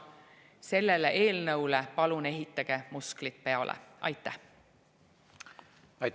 Palun ehitage sellele eelnõule musklid peale!